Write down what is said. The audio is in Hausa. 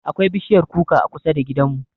Akwai bishiyar kuka a kusa da gidanmu.